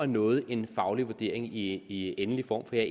noget er en faglig vurdering i endelig form for jeg